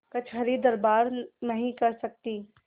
कचहरीदरबार नहीं कर सकती